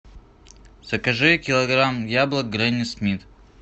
закажи килограмм яблок гренни смит